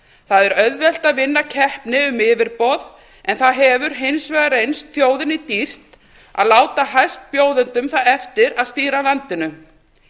það er auðvelt að vinna keppni um yfirboð en það hefur hins vegar reynst þjóðinni dýrt að láta hæstbjóðendum það eftir að stýra landinu